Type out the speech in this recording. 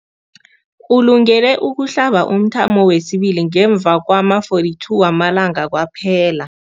Ulungele ukuhlaba umthamo wesibili ngemva kwama-42 wamalanga kwaphela.